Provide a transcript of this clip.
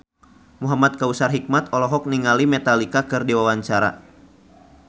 Muhamad Kautsar Hikmat olohok ningali Metallica keur diwawancara